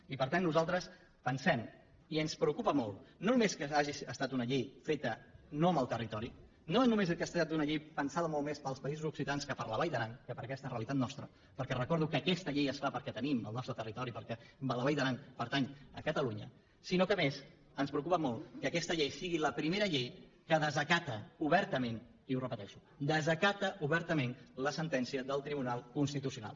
i per tant nosaltres pensem i ens preocupa molt no només que hagi estat una llei feta no amb el territori no només que es tracta d’una llei pensada molt més per als països occitans que per a la vall d’aran que per a aquesta realitat nostra perquè recordo que aquesta llei es fa perquè tenim al nostre territori perquè la vall d’aran pertany a catalunya sinó que a més ens preocupa molt que aquesta llei sigui la primera llei que desacata obertament i ho repeteixo desacata obertament la sentència del tribunal constitucional